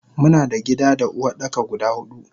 Muna da gida da Uwardaka guda hudu.